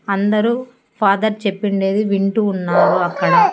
అందరూ ఫాదర్ చెప్పిండేది వింటూ ఉన్నారు అక్కడ--